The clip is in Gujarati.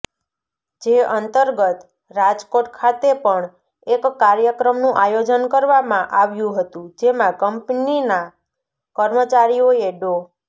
જે અંતર્ગત રાજકોટ ખાતે પણ એક કાર્યક્રમનું આયોજન કરવામાં આવ્યું હતું જેમા કંપનીના કર્મચારીઓએ ડો